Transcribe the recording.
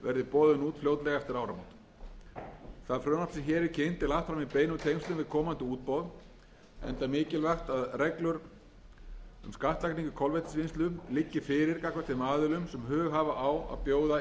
fram í beinum tengslum við komandi útboð enda mikilvægt að reglur um skattlagningu kolvetnisvinnslu liggi fyrir gagnvart þeim aðilum sem hug hafa á að bjóða í leyfin frumvarpið er í